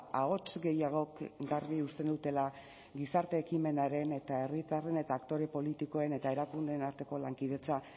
ahots gehiagok garbi uzten dutela gizarte ekimenaren eta herritarren eta aktore politikoen eta erakundeen arteko lankidetza